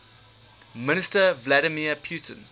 minister vladimir putin